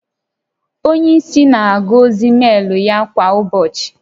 Onye isi na-agụ ozi meelu ya kwa ụbọchị